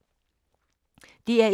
DR1